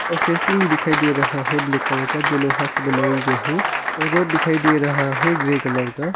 और फेसिंग भी दिखाई दे रहा है ब्लैक कलर का जो लोहा से बनाया गया है और रोड दिखाई दे रहा है ग्रे कलर का।